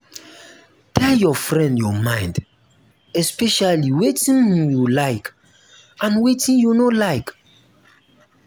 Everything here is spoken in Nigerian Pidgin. um tell your friend your mind especially wetin you um like and wetin you no like